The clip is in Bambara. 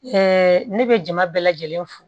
ne bɛ jama bɛɛ lajɛlen fo